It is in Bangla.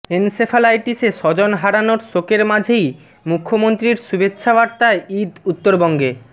এনসেফ্যালাইটিসে স্বজন হারানোর শোকের মাঝেই মুখ্যমন্ত্রীর শুভেচ্ছাবার্তায় ঈদ উত্তরবঙ্গে